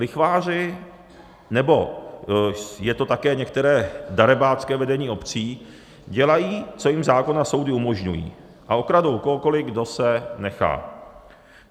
Lichváři, nebo je to také některé darebácké vedení obcí, dělají, co jim zákon a soudy umožňují, a okradou kohokoli, kdo se nechá.